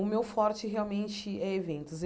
O meu forte realmente é eventos.